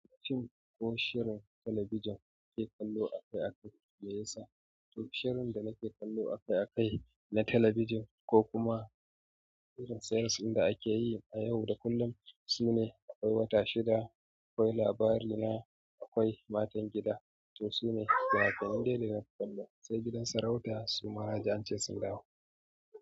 Fim ko shirin talabijin kake kallo akai-akai me yasa? Shirin da nake kallo akai-akai na talabijin ko kuma shirin series ɗin da ake yi a yau da kullum sune akwai wata shida, akwai labarina, akwai matan gida. To su ne finin finan dai-dai na kallo, sai gidan sarauta su ma na ji ance sun dawo.